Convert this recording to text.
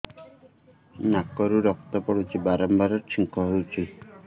ନାକରୁ ରକ୍ତ ପଡୁଛି ବାରମ୍ବାର ଛିଙ୍କ ହଉଚି